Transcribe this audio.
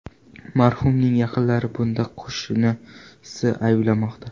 Marhumning yaqinlari bunda qo‘shnisini ayblamoqda.